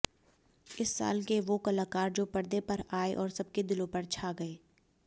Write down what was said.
इस साल के वो कलाकार जो पर्दे पर आए और सबके दिलों पर छा गए